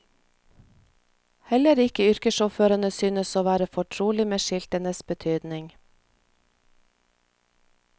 Heller ikke yrkessjåførene synes å være fortrolig med skiltenes betydning.